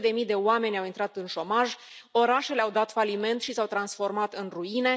Sute de mii de oameni au intrat în șomaj, orașele au dat faliment și s au transformat în ruine.